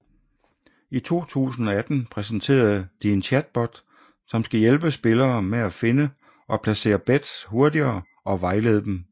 I 2018 præsenterede de en chatbot som skal hjælpe spillere med at finde og placere bets hurtigere og vejlede dem